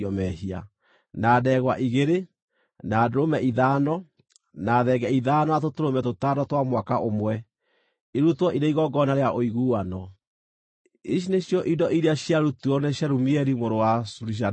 na ndegwa igĩrĩ, na ndũrũme ithano, na thenge ithano, na tũtũrũme tũtano twa mwaka ũmwe, irutwo irĩ igongona rĩa ũiguano. Ici nĩcio indo iria ciarutirwo nĩ Shelumieli mũrũ wa Zurishadai.